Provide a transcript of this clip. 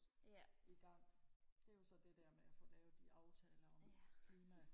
igang det er jo så det der med at få lavet de aftaler om klima